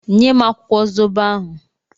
Nye m akwụkwọ zobo ahụ!